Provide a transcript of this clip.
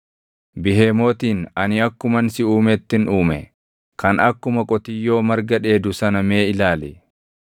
“Bihemootin ani akkuman si uumettin uume, kan akkuma qotiyyoo marga dheedu sana mee ilaali.